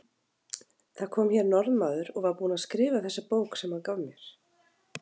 Það kom hér Norðmaður og var búinn að skrifa þessa bók sem hann gaf mér.